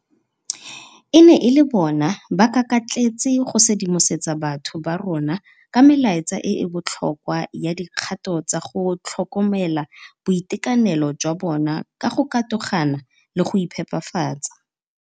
E ne e le bona ba kakatletse go sedimosetsa batho ba rona ka melaetsa e e botlhokwa ya dikgato tsa go tlhokomela boitekanelo jwa bona ka go katogana le go iphepafatsa.